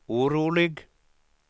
orolig